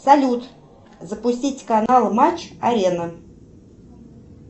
салют запустить канал матч арена